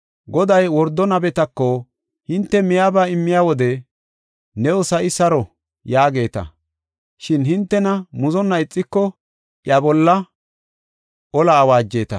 Goday wordo nabetako, “Hinte miyaba immiya wode, ‘New sa7i saro’ yaageeta; shin hintena muzonna ixiko iya bolla ola awaajeta.